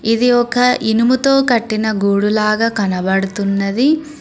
ఇది ఒక ఇనుముతో కట్టిన గూడు లాగా కనబడుతున్నది.